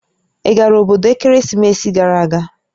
Ị gara obodo ekeresimesi gara aga?